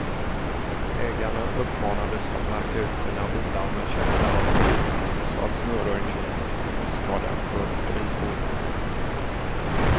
Ägarna uppmanades att märka ut sina bilar med käppar och vimplar, så att snöröjningen inte misstar dem för drivor.